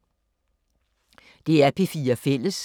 DR P4 Fælles